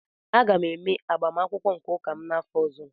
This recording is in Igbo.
Aga m eme agbamakwụkwọ nke ụka m n'afọ ọzọ